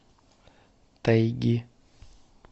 тайги